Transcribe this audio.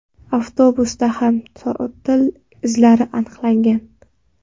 Avtobusda ham trotil izlari aniqlagan.